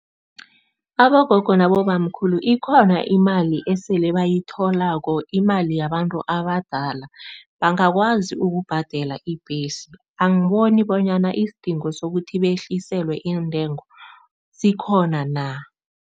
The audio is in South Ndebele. Abogogo nabobamkhulu ikhona imali esele bayitholako, imali yabantu abadala. Bangakwazi ukubhadela ibhesi, angiboni bonyana isidingo sokuthi behliselwe iintengo sikhona na.